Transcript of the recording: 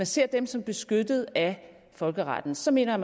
ser dem som beskyttet af folkeretten så mener